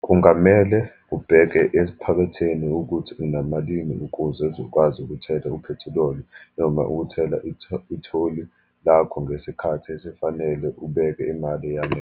Kungamele ubheke ephaketheni ukuthi unamalini ukuze uzokwazi ukuthela uphethiloli, noma ukuthela itholi lakho ngesikhathi esifanele, ubeke imali eyanele.